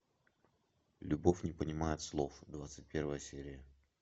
любовь не понимает слов двадцать первая серия